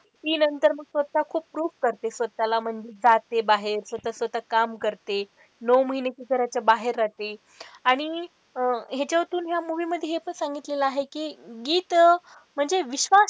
ती नंतर मग स्वतः खूप proof करते स्वतःला म्हणजे जाते बाहेर स्वतःच स्वतः काम करते, नऊ महिने ती घराच्या बाहेर रहाते आणि अह ह्यांच्यातून ह्या movie मध्ये हे पण सांगितलेलं आहे कि गीत म्हणजे विश्वास,